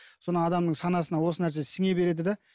соны адамның санасына осы нәрсе сіңе береді де